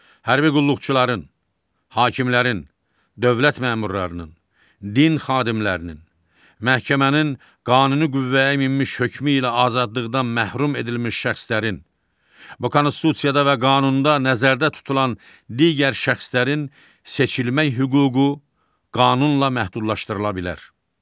Hərbi qulluqçuların, hakimlərin, dövlət məmurlarının, din xadimlərinin, məhkəmənin qanuni qüvvəyə minmiş hökmü ilə azadlıqdan məhrum edilmiş şəxslərin, bu Konstitusiyada və qanunda nəzərdə tutulan digər şəxslərin seçilmək hüququ qanunla məhdudlaşdırıla bilər.